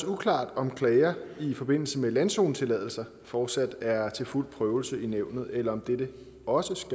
uklart om klager i forbindelse med landzonetilladelse fortsat er til fuld prøvelse i nævnet eller om dette også